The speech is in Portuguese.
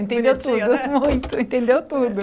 Entendeu tudo, Que bonitinho né Muito, entendeu tudo.